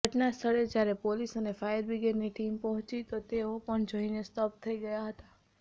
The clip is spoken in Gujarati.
ઘટનાસ્થળે જ્યારે પોલીસ અને ફાયરબ્રિગેડની ટીમ પહોંચી તો તેઓ પણ જોઈને સ્તબ્ધ થઈ ગયા હતાં